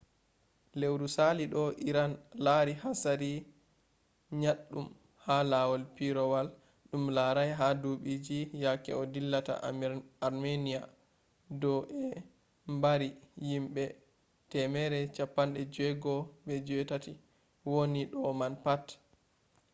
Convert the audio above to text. lewru salido iran lari hatsari nyaɗɗum ha lawol pireewol ɗum larai ha duɓiji yake o dillata armenia do'e mbari yimbe 168 woni do man pat